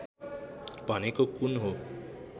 भनेको कुन हो